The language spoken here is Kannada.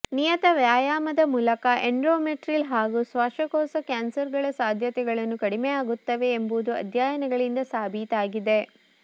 ನಿಯತ ವ್ಯಾಯಾಮದ ಮೂಲಕ ಎಂಡೋಮೆಟ್ರಿಲ್ ಮತ್ತು ಶ್ವಾಸಕೋಶ ಕ್ಯಾನ್ಸರ್ಗಳ ಸಾಧ್ಯತೆಗಳನ್ನು ಕಡಿಮೆಯಾಗುತ್ತವೆ ಎಂಬುದು ಅಧ್ಯಯನಗಳಿಂದ ಸಾಬೀತಾಗಿದೆ